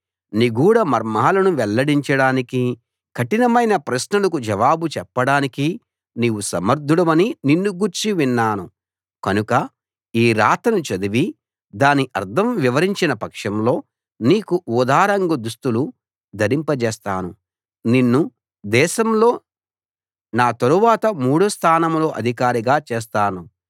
నిగూఢ మర్మాలను వెల్లడించడానికి కఠినమైన ప్రశ్నలకు జవాబు చెప్పడానికి నీవు సమర్ధుడవని నిన్ను గూర్చి విన్నాను కనుక ఈరాతను చదివి దాని అర్థం వివరించిన పక్షంలో నీకు ఊదారంగు దుస్తులు ధరింపజేస్తాను నిన్ను దేశంలో నా తరువాత మూడో స్థానంలో అధికారిగా చేస్తాను